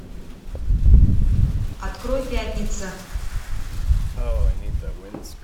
открой пятница